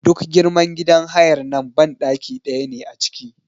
Duk girman gidan hayar nan banɗaki ɗaya ne a ciki.